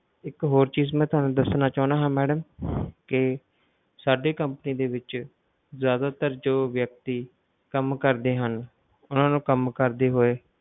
ਇੱਕ ਹੋਰ ਚੀਜ ਮੈਂ ਤੁਹਾਨੂੰ ਦੱਸਣਾ ਚਾਹੁੰਦਾ ਹਾਂ madam ਕਿ ਸਾਡੇ company ਦੇ ਵਿੱਚ ਜ਼ਿਆਦਾਤਰ ਜੋ ਵਿਅਕਤੀ ਕੰਮ ਕਰਦੇ ਹਨ ਉਹਨਾਂ ਨੂੰ ਕੰਮ ਕਰਦੇ ਹੋਏ,